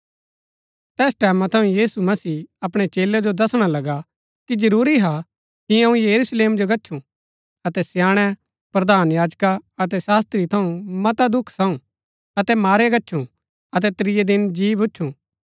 तैस टैमां थऊँ यीशु मसीह अपणै चेलै जो दसणा लगा कि जरूरी हा कि अऊँ यरूशलेम जो गच्छु अतै स्याणै प्रधान याजका अतै शास्त्री थऊँ मता दुख साऊं अतै मारया गच्छु अतै त्रियै दिन जी भूच्छुं